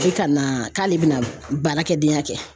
Bɛ ka na k'ale bɛna baarakɛdenya kɛ